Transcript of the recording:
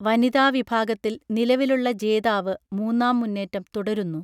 വനിതാവിഭാഗത്തിൽ നിലവിലുള്ള ജേതാവ് മൂന്നാം മുന്നേറ്റം തുടരുന്നു